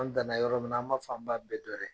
An danna yɔrɔ min na, an b'a fɔ, an b'a bɛɛ